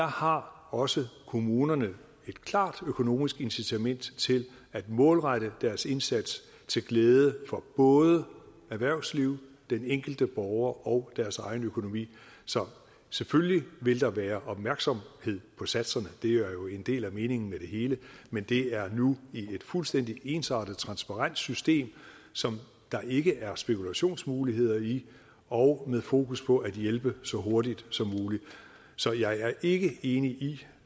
har også kommunerne et klart økonomisk incitament til at målrette deres indsats til glæde for både erhvervsliv den enkelte borger og deres egen økonomi selvfølgelig vil der være opmærksomhed på satserne det er jo en del af meningen med det hele men det er nu i et fuldstændig ensartet transparent system som der ikke er spekulationsmuligheder i og med fokus på at hjælpe så hurtigt som muligt så jeg er ikke enig